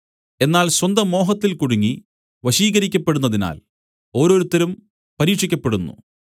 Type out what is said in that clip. എന്നാൽ സ്വന്തമോഹത്തിൽ കുടുങ്ങി വശീകരിക്കപ്പെടുന്നതിനാൽ ഓരോരുത്തരും പരീക്ഷിക്കപ്പെടുന്നു